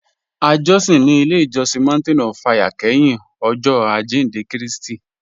À jọ̀sìn ní ilẹ̀ ìjọ̀sìn Mountain of Fire kẹ́hìn Ọ̀jọ̀ Ajíndẹ̀ Kristi